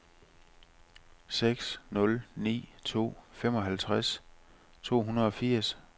seks nul ni to femoghalvtreds to hundrede og firs